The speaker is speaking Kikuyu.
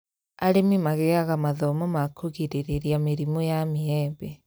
Arĩmi magĩaga mathomo ma kũgirĩrĩria mĩrimũ ya mĩembe